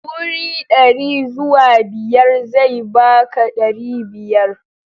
Wuri dari zuwa biyar zai baka dari biyar.